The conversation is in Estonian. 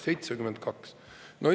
72!